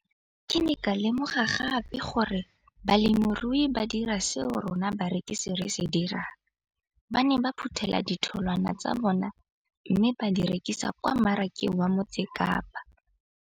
Ke ne ka lemoga gape gore balemirui ba dira seo rona barekisi re se dirang, ba ne ba phuthela ditholwana tsa bona mme ba di rekisa kwa marakeng wa Motsekapa.